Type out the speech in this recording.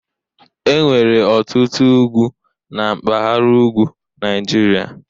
Enwere ọtụtụ ugwu na mpaghara ugwu Nigeria.